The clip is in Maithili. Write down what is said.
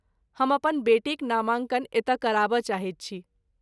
हम अपन बेटीक नामाङ्कन एतय कराबय चाहैत छी।